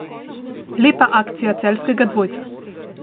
Lepa akcija celjskega dvojca.